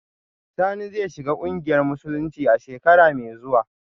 Sani zai shiga kungiyar musulunci a shekara mai zuwa